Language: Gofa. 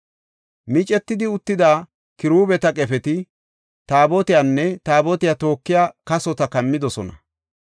Micetidi uttida kiruubeta qefeti Taabotiyanne Taabotiya tookiya kasota kammidosona.